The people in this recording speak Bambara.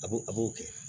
A b'o a b'o kɛ